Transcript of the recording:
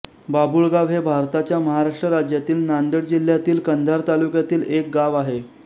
बाबुळगाव हे भारताच्या महाराष्ट्र राज्यातील नांदेड जिल्ह्यातील कंधार तालुक्यातील एक गाव आहे